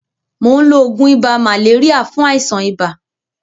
Mò ń lo oògùn ibà màléríà fún àìsàn ibà.